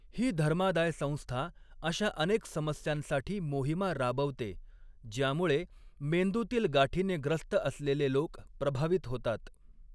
ही धर्मादाय संस्था अशा अनेक समस्यांसाठी मोहिमा राबवते, ज्यामुळे मेंदूतील गाठीने ग्रस्त असलेले लोक प्रभावित होतात.